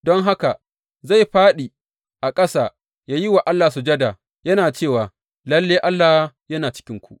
Don haka, zai fāɗi a ƙasa yă yi wa Allah sujada yana cewa, Lalle, Allah yana cikinku!